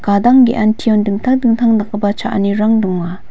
gadang ge·antion dingtang dingtang dakgipa cha·anirang donga.